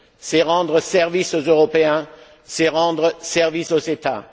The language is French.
C'est rendre service aux Européens, c'est rendre service aux États.